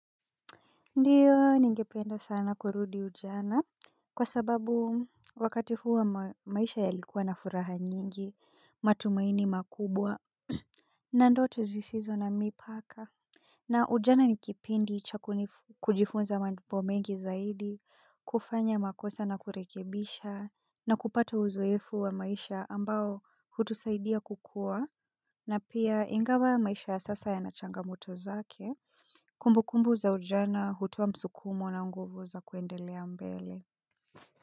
Ndiyo, ningependa sana kurudi ujana kwa sababu wakati huwo maisha yalikuwa na furaha nyingi, matumaini makubwa, na ndoto zisizo na mipaka. Na ujana ni kipindi cha kunifu, kujifunza mambo mengi zaidi, kufanya makosa na kurekebisha, na kupata uzoefu wa maisha ambao hutusaidia kukuwa, na pia ingawa maisha ya sasa yana changamoto zake. Kumbu kumbu za ujana hutowa msukumo na nguvu za kuendelea mbele.